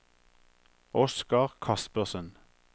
Oscar Kaspersen